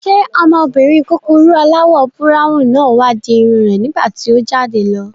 Ṣé ọmọbìnrin kúkurú aláwọ̀ búráwùn náà wá di irun rẹ̀ nígbàtí o jáde lọ?